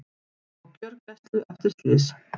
Á gjörgæslu eftir slys